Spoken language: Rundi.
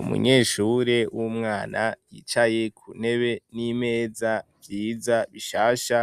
Umunyeshure w'umwana yicaye ku ntebe n'imeza vyiza bishasha,